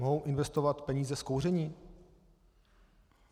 Mohou investovat peníze z kouření?